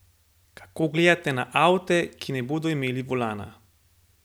Kako gledate na avte, ki ne bodo imeli volana?